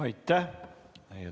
Aitäh!